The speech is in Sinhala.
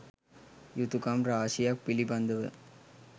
යුතුකම් රාශියක් පිළිබඳව